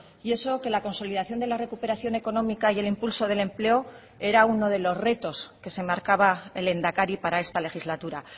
y eso que la consolidación de la recuperación económica y el impulso del empleo era uno de los retos que se marcaba el lehendakari para esta legislatura